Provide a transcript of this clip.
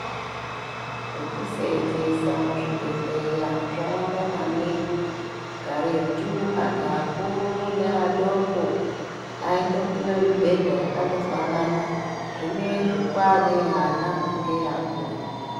Zvekusenzesa muzvibhehleya zvawanda maningi karetu vantu vakuru neadoko aidopiwa mibhedha yakandofanana zvinezvi kwane yaana ngeyeakuru.